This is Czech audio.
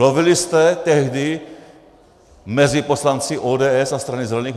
Lovili jste tehdy mezi poslanci ODS a Strany zelených?